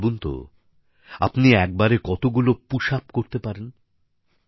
আচ্ছা ভাবুনতো আপনি একবারে কতগুলি পুশআপ করতে পারেন